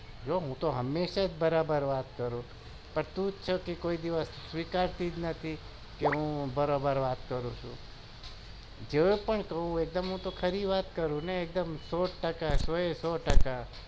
હું તો હમેશા બરાબર વાત કરું છુ પણ તું જ છે કે કોઈ દિવસ સ્વીકારતી નથી કે બરોબર વાત કરું છુ હું તો ખરી વાત જ કરું ને સો ટકા